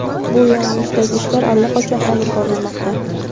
bu yo‘nalishdagi ishlar allaqachon olib borilmoqda.